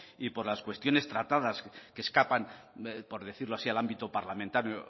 y por las cuestiones tratadas que escapan por decirlo así al ámbito parlamentario